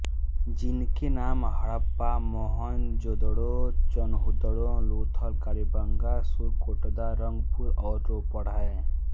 जिनके नाम हड़प्पा मोहनजोदेड़ों चनहुदड़ो लुथल कालीबंगा सुरकोटदा रंगपुर और रोपड़ है